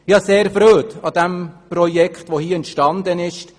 Ich habe grosse Freude an dem Projekt, das hier entstanden ist.